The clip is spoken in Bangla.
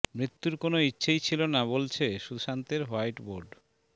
মৃত্যুর কোনও ইচ্ছেই ছিল না বলছে সুশান্তের হোয়াইট বোর্ড